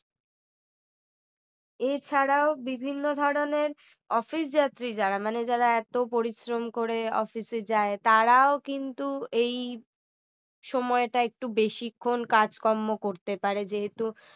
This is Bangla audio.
এছাড়াও বিভিন্ন ধরনের office যাত্রী যারা মানে যারা এত পরিশ্রম করে office এ যায় তারাও কিন্তু এই সময়টা একটু বেশিক্ষণ কাজকর্ম করতে পারে যেহেতু